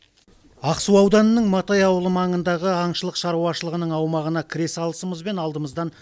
ақсу ауданының матай ауылы маңындағы аңшылық шаруашылығының аумағына кіре салысымызбен алдымыздан